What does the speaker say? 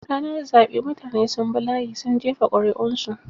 Ranar zaɓe mutane sun bi layi sun jefa ƙuri'un su.